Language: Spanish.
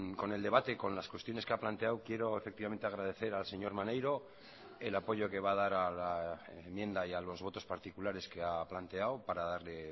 con el debate con las cuestiones que ha planteado quiero efectivamente agradecer al señor maneiro el apoyo que va a dar a la enmienda y a los votos particulares que ha planteado para darle